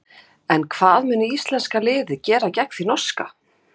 En hvað mun íslenska liðið gera gegn því norska?